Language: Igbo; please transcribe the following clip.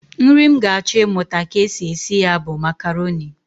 Nri m ga-achọ ịmụta ka e si esi ya bụ makaroni